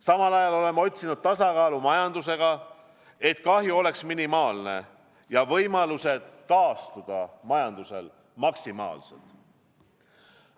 Samal ajal oleme otsinud tasakaalu majandusega, et kahju oleks minimaalne ja majanduse võimalused taastuda maksimaalsed.